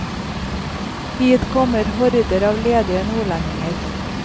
Hit kommer horder av ledige nordlendinger.